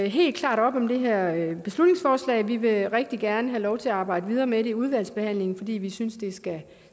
helt klart op om det her beslutningsforslag vi vil rigtig gerne have lov til at arbejde videre med det i udvalgsbehandlingen fordi vi synes det skal